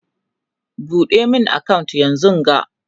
ɓuɗe min account yanzunga!